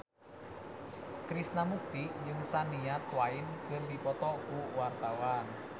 Krishna Mukti jeung Shania Twain keur dipoto ku wartawan